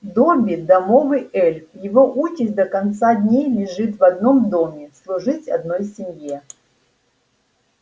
добби домовый эльф его участь до конца дней лежит в одном доме служить одной семье